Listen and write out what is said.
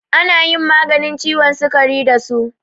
Ana yin maganin ciwon sukari da su.